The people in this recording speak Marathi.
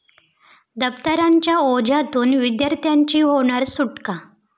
दप्तरांच्या ओझ्यातून विद्यार्थ्यांची होणार सुटका?